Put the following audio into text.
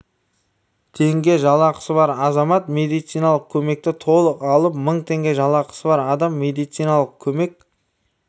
теңге жалақысы бар азамат медициналық көмекті толық алып мың теңге жалақысы бар адам медициналық көмек